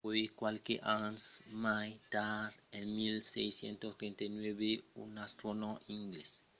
puèi qualques ans mai tard en 1639 un astronòm anglés sonat jeremiah horrocks observèt un transit de vènus